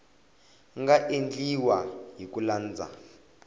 nga endliwa hi ku landza